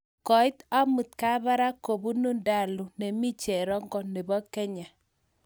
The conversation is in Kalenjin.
Koiit amut Kabarak kobunu Ndalu nemii cherongo nebo Kenya .